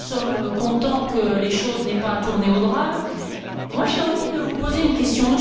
Nous sommes contents que les choses n'aient pas tourné au drame. J'ai envie de vous poser une question.